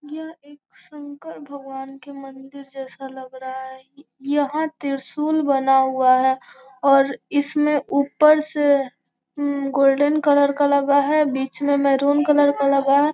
यहाँ एक शंकर भगवान के मंदिर जैसा लग रहा है यहाँ त्रिशूल बना हुआ है और इसमें ऊपर से गोल्डन कलर का लगा है और बीच में मैरून कलर का लगा है।